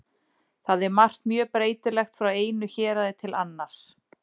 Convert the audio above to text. Þar er margt mjög breytilegt frá einu héraði til annars.